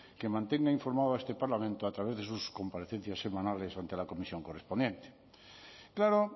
que mantenga informado a este parlamento a través de sus comparecencias semanales ante la comisión correspondiente claro